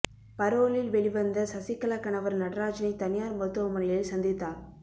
பரோலில் வெளி வந்த சசிகலா கணவர் நடராஜனை தனியார் மருத்துவமனையில் சந்தித்தார்